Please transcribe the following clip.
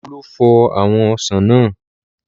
Olú fọ àwọn ọsàn náà.